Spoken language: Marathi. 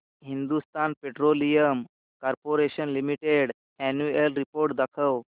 Hindustan petroleum corporation limited annual report दाखव